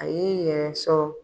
A y'i yɛrɛ sɔrɔ